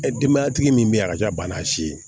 Denbayatigi min be yen a ka ca bana si ye